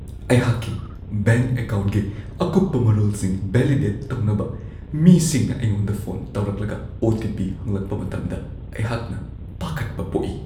ꯑꯩꯍꯥꯛꯀꯤ ꯕꯦꯡꯛ ꯑꯀꯥꯎꯟꯒꯤ ꯑꯀꯨꯞꯄ ꯃꯔꯣꯜꯁꯤꯡ ꯚꯦꯂꯤꯗꯦꯠ ꯇꯧꯅꯕ ꯃꯤꯁꯤꯡꯅ ꯑꯩꯉꯣꯟꯗ ꯐꯣꯟ ꯇꯧꯔꯛꯂꯒ ꯑꯣ.ꯇꯤ.ꯄꯤ. ꯍꯪꯂꯛꯄ ꯃꯇꯝꯗ ꯑꯩꯍꯥꯛꯅ ꯄꯥꯈꯠꯄ ꯄꯣꯛꯏ ꯫